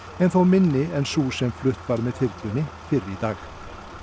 en þó minni en sú sem flutt var með þyrlunni fyrr í dag